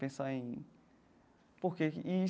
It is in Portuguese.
Pensar em... Por quê? E.